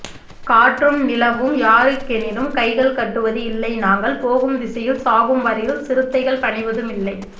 காற்றும் நிலவும் யாருக் எனிலும் கைகள் கட்டுவது இல்லை நாங்கள் போகும் திசையில் சாகும் வரையில் சிறுத்தைகள் பணிவதும் இல்லை